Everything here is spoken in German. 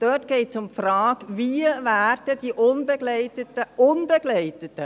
Dort geht es um die Frage, wie die unbegleiteten – die unbegleiteten!